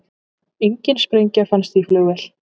Engin sprengja fannst í flugvél